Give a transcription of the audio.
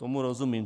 Tomu rozumím.